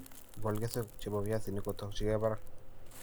Igol keswek che po piasinik ko tokyingei parak